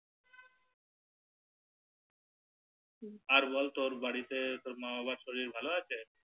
আর বল তোর বাড়িতে মা বাবা সব ভালো আছে